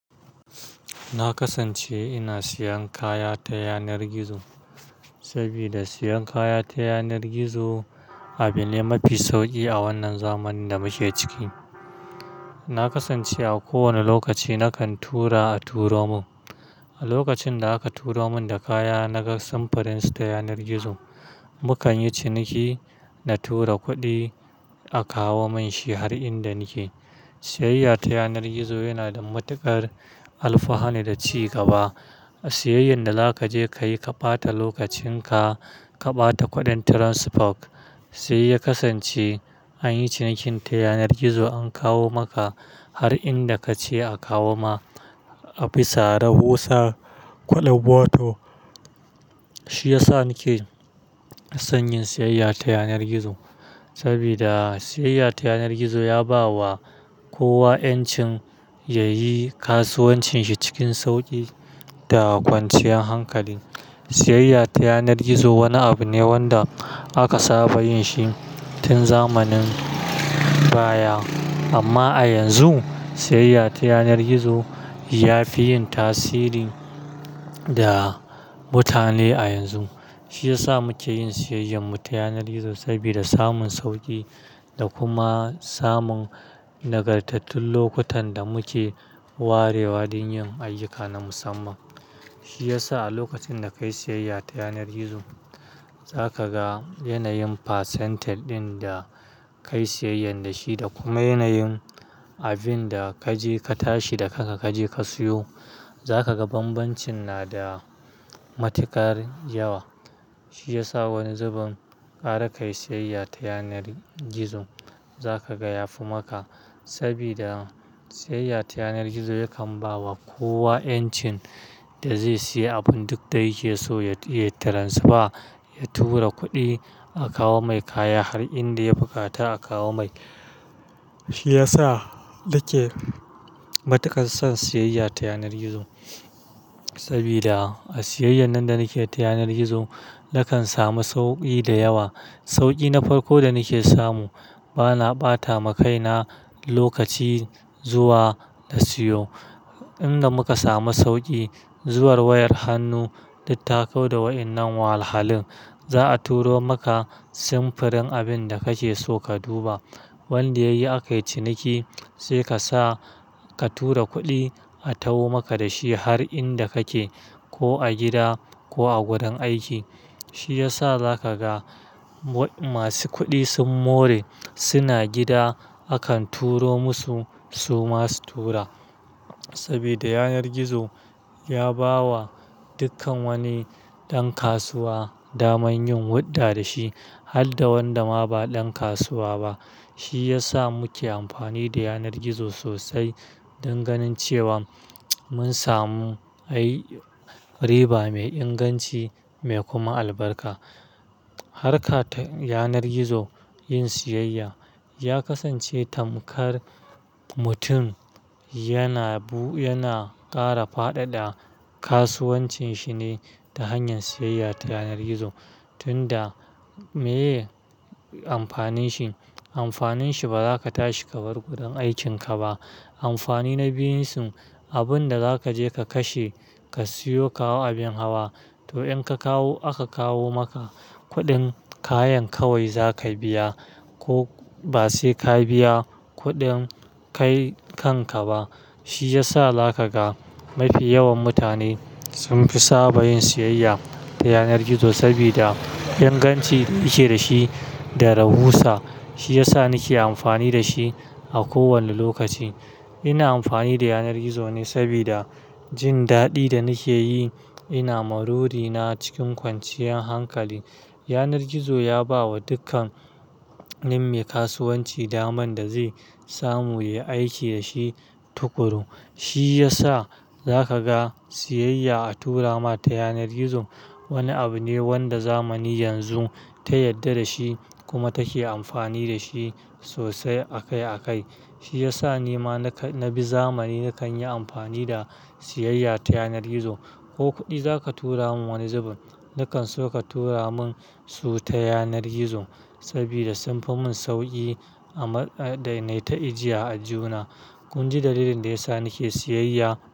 Na kasance ina siyan kaya ta yanar gizo, sabida siyan kaya ta yanar gizo abu ne mafi sauƙi a wannan zamanin da muke ciki. Na kasance a kowane lokaci nakan tura a turo mun. A lokacin da aka turo mun da kaya na ga samfurin su ta yanar gizo. Mukan yi ciniki, na tura kuɗi a kawo mun shi har inda nike. Sayayya ta yanar gizo yana da matuƙar alfahani da cigaba. A siyayyar da zaka je kayi ka ɓata lokacin ka, ka ɓata kuɗin transport. Sai ya kasance anyi cinikin ta yanar gizo an kawo maka har inda kace a kawo ma. Abisa rahusa, kuɗin wato shi yasa nake son yin siyayya ta yanar gizo. Sabida siyayya ta yanar gizo ya ba wa kowa 'yancin yayi kasuwancin shi cikin sauƙi da kwanciyan hankali. Siyayya ta yanar gizo wani abu ne wanda aka saba yin shi tun zamanin baya. Amma a yanzu, siyayya ta yanar gizo ya fi yin tasiri da mutane a yanzu. Shi yasa muke yin siyayyar mu ta yanar gizo sabida samun sauƙi da kuma samun nagartattun lokutan da muke warewa don yin ayyuka na musamman. Shi yasa a lokacin da kayi siyayya ta yanar gizo, za ka ga yanayin percentage ɗin da kayi siyayya da shi da kuma yanayin abin da kaje ka tashi da kanka kaje ka siyo. Zakaga banbancin na da matuƙar yawa. Shi ya sa wani zubin ƙara kayi siyayya ta yanar gizo. Za ka ga ya fi maka, saboda siyayya ta yanar gizo yakan bawa kowa 'yancin da zai siya abun duk da yake so ya transfer, ya tura kuɗi a kawo mai kaya har inda ya buƙata a kawo mai. Shi ya sa nake matuƙar son siyayya ta yanar gizo. Sabida a siyayyar nan da nake ta yanar gizo, nakan samu sauƙi da yawa. Sauƙi na farko da nake samu bana ɓata ma kaina lokaci zuwa na siyo. Inda muka samu sauƙi, zuwan wayar hannu, duk ta kauda da wa'innan wahalhalun. Za a turo maka samfurin abin da kake so ka duba. Wanda yayi aka yi ciniki sai kasa ka tura kuɗi a tawo maka da shi har inda kake, ko a gida ko a gurin aiki. Shi yasa za ka ga masu kuɗi sun more suna gida, akan turo musu su ma su tura. Sabida yanar gizo ya ba wa dukkan wani ɗan kasuwa daman yin huɗɗa da shi har da wanda ma ba ɗan kasuwa ba. Shi yasa muke amfani da yanar gizo sosai dan ganin cewa mun samu, ai riba mai inganci mai kuma albarka. Harka ta yanar gizo yin siyayya ya kasance tamkar mutum yana bu-- yana ƙara fadada kasuwancin shi ne ta hanyar siyayya ta yanar gizo tunda meye amfanin shi. Amfanin shi ba za ka tashi ka bar gurin aikin ka ba. Amfani na biyun sun, abunda za ka je ka kashe ka siyo kawo abin hawa. To in ka kawo aka kawo maka kuɗin kayan kawai za ka biya ko ba sai ka biya kuɗin kai kanka ba. Shi ya sa za ka ga mafi yawan mutane sun fi saba yin siyayya ta yanar gizo sabida ingancin yake da shi da rahusa. Shi ya sa nake amfani da shi a kowane lokaci. Ina amfani da yanar gizo ne sabida jin daɗi da nake yi, ina maruri na cikin kwanciyar hankali. Yanar gizo ya ba wa dukkanin mai kasuwanci daman da zai samu ya aiki da shi tukuru. Shi ya sa za ka ga siyayya a tura ma ta yanar gizo wani abu ne wanda zamani yanzu ta yadda da shi kuma take amfani da shi sosai akai akai. Shi ya sa ni ma na bi zamani nakan yi amfani da siyayya ta yanar gizo. Ko kuɗi zaka tura mun wani zubin, nakan so ka tura mun su ta yanar gizo sabida sunfi mun sauƙi a mai-- a dai naita ijiya a aljihuna. Kun ji dalilin da ya sa nake siyayya.